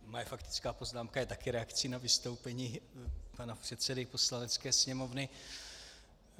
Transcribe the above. Moje faktická poznámka je také reakcí na vystoupení pana předsedy Poslanecké sněmovny.